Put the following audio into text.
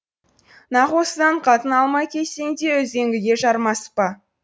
нақ осыдан қатын алмай кетсең де үзеңгіге жармаспа